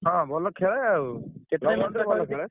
ହଁ ଭଲ ଖେଳେ ଆଉ।